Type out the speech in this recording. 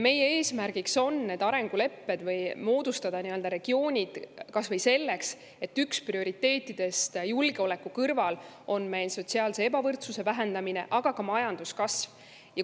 Meie eesmärk on need arengulepped või regioonid moodustada, kas või seetõttu, et üks prioriteetidest julgeoleku kõrval on meil sotsiaalse ebavõrdsuse vähendamine, aga ka majanduskasv.